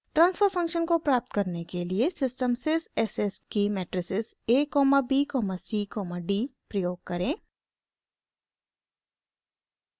transfer function को प्राप्त करने के लिए सिस्टम sys s s की matrices a b c d प्रयोग करें